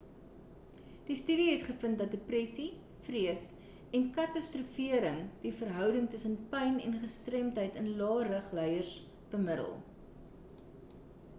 die studie het gevind dat depressie vrees en katastrofering die verhouding tussen pyn en gestremdheid in lae-rug lyers bemiddel